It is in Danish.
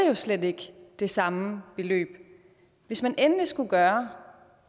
jo slet ikke det samme beløb hvis man endelig skulle gøre